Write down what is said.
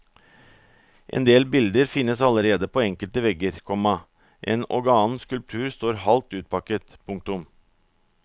Endel bilder finnes allerede på enkelte vegger, komma en og annen skulptur står halvt utpakket. punktum